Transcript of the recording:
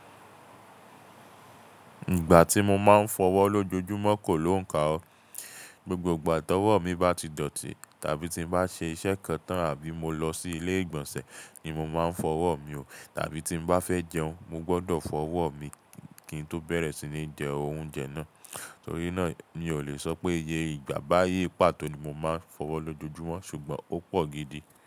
Ìgbà tí mo máa ń fọwọ́ lójoojúmọ́ kò lóǹkà o. Gbogbo ìgbà tọwọ́ mi bá ti dọ̀tí tàbí tí n bá ṣe iṣẹ́ kan tan àbí mo lọ sí ilé ìgbọ̀nsẹ̀ ni mo máa ń fọwọ́ mi o. Tàbí tí n bá fẹ́ jẹun, mo gbọdọ̀ fọwọ́ mi kí n tó bẹ̀rẹ̀ sí ní jẹ oúnjẹ náà. Torí náà ni mi ò lè sọ pé iye ìgbà bá yé pàtó ni mo máa ń fọwọ́ lójoojúmọ́ ṣùgbọ́n ó pò gidi.